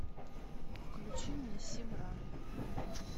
включи мне симран